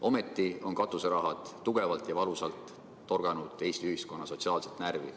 Ometi on katuseraha tugevalt ja valusalt torganud Eesti ühiskonna sotsiaalset närvi.